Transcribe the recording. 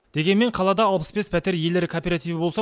дегенмен қалада алпыс бес пәтер иелері кооперативі болса